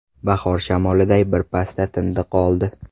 Bahor shamoliday bir pasda tindi-qoldi.